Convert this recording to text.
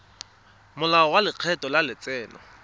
molao wa lekgetho wa letseno